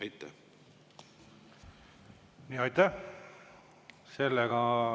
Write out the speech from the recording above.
Aitäh!